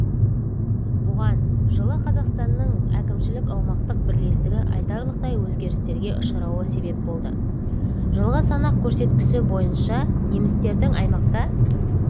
бұған жылы қазақстанның әкімшілік-аумақтық бірлестігі айтарлықтай өзгерістерге ұшырауы себеп болды жылғы санақ көрсеткіші бойынша немістердің аймақта